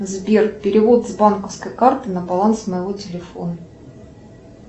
сбер перевод с банковской карты на баланс моего телефона